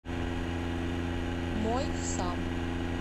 мой сам